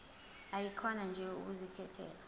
ayikhona nje ukuzikhethela